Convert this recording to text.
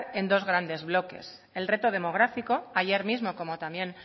en dos grandes lotes el reto demográfico ayer mismo como también